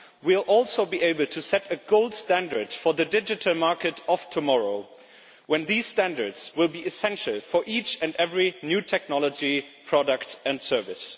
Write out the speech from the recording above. We will also be able to set a gold standard for the digital market of tomorrow, when these standards will be essential for each and every new technology product and service.